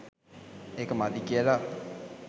ඒක මදි කියලා.